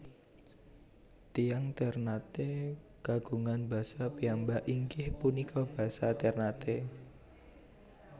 Tiyang Ternate kagungan basa piyambak inggih punika basa Ternate